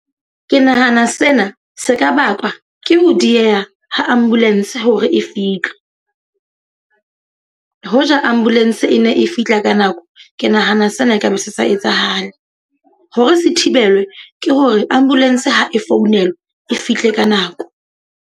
Ke nahana sena se ka bakwa ke ho dieha ho ambulance hore e fihle. ho ja ambulance e ne e fihla ka nako, ke nahana sena ekaba se sa etsahale. Hore se thibelwe, ke hore ambulance ha e founelwe e fihle ka nako.